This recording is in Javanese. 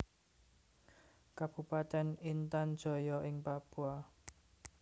Kabupatèn Intan Jaya ing Papua